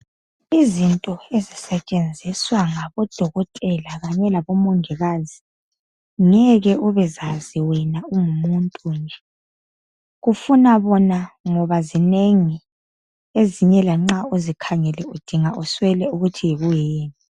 Izinto ezisetshenziswa ngabo dokotela kanye labo mongikazi ngeke ubezazi wena ungumuntu nje. Kufuna bona ngoba zinengi ezinye lanxa uzikhangele udinga uswele ukuthi yikuyini.